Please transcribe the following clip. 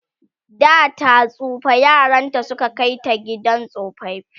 data tsufa yaranta Suka Kai ta gidan tsofaffi